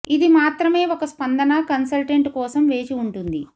ఇది మాత్రమే ఒక స్పందన కన్సల్టెంట్ కోసం వేచి ఉంటుంది